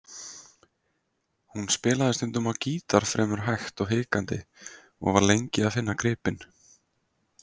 Hún spilaði stundum á gítar fremur hægt og hikandi og var lengi að finna gripin.